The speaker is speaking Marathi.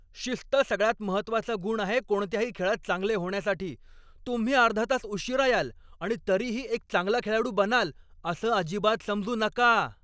शिस्त सगळ्यात महत्त्वाचा गुण आहे कोणत्याही खेळात चांगले होण्यासाठी. तुम्ही अर्धा तास उशीरा याल आणि तरीही एक चांगला खेळाडू बनाल असं अजिबात समजू नका.